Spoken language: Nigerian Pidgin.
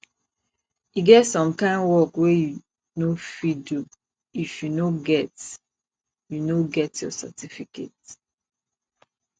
e get some kind work wey you no fit do if you no get you no get your certificate